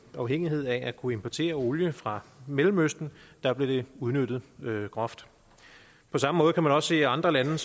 afhængige af at kunne importere olie fra mellemøsten der blev det udnyttet groft på samme måde kan man også se andre lande